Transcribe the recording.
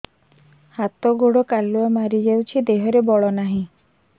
ହାତ ଗୋଡ଼ କାଲୁଆ ମାରି ଯାଉଛି ଦେହରେ ବଳ ନାହିଁ